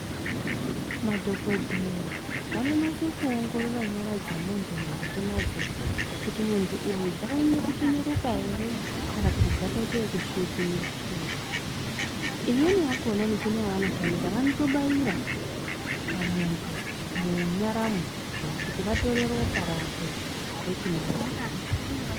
Madhokodheya vano nase ku ongorora nyara dze muntu mukati madzo kuti muntu uyu dzaka nyanya ku cheneruka ere kana kuti dzaka ite yeku svipira imweni yakona michini ya vano shandisa vanoto baira pa muntu mu nyaramwo kuti vatore ropa rakwe wochino ongorora.